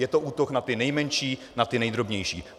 Je to útok na ty nejmenší, na ty nejdrobnější.